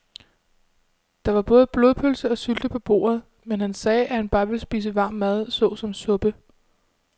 Der var både blodpølse og sylte på bordet, men han sagde, at han bare ville spise varm mad såsom suppe.